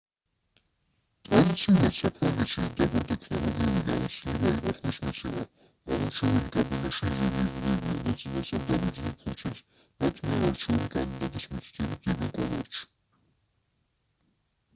ტრადიციულად საფრანგეთში დაბალტექნოლოგიური გამოცდილება იყო ხმის მიცემა ამომრჩეველი კაბინაში იზოლირდებიან და წინასწარ დაბეჭდილ ფურცელს მათ მიერ არჩეული კანდიდატის მითითებით დებენ კონვერტში